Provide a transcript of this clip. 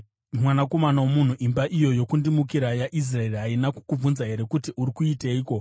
“Mwanakomana womunhu, imba iyo yokundimukira yaIsraeri haina kukubvunza here kuti, ‘Uri kuiteiko?’